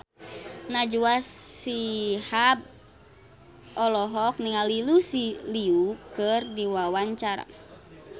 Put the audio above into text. Najwa Shihab olohok ningali Lucy Liu keur diwawancara